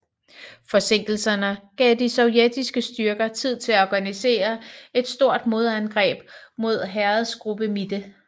Forsinkelserne gav de sovjetiske styrker tid til at organisere et stort modangreb mod Heeresgruppe Mitte